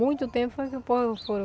Muito tempo foi que o povo